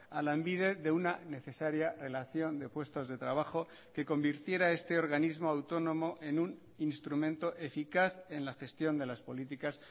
a lanbide de una necesaria relación de puestos de trabajo que convirtiera este organismo autónomo en un instrumento eficaz en la gestión de las políticas